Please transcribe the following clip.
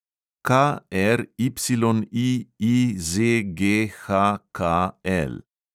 KRYIIZGHKL